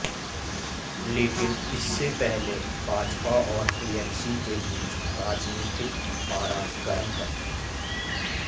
लेकिन इससे पहले भाजपा और टीएमसी के बीच राजनीतिक पारा गर्म है